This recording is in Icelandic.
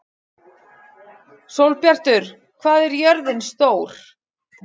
Sólbjartur, hvað er jörðin stór?